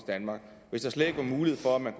danmark hvis der slet ikke var en mulighed for at man